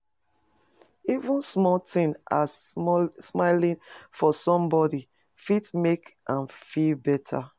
Even small tin as smiling for somebodi fit make am feel beta.